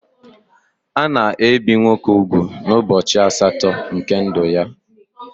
Ana ebi nwoke úgwù n'ubọchi asatọ nke ndụ ya.